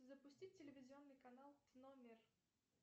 запустить телевизионный канал тномер